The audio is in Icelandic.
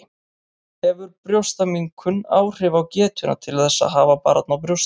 Hefur brjóstaminnkun áhrif á getuna til að hafa barn á brjósti?